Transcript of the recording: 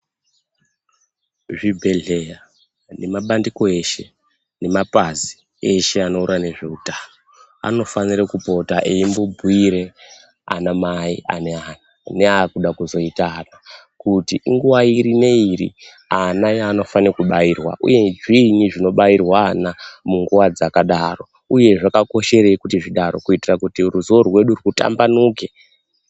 Zvibhehleya nemabandiko eshe nemabazi eshe anoona ngezveutano unofanira kupota eibhiire ana mai ane akuda kuzoita ana Kuti inguwa iri ndiri ana yanofana kubairwa uyezve zvini zvinobairwe ana munguwa dzakadaro uye zvakakosherei zvidaro kuitira kuti ruzivo rwedu rwutambanuke.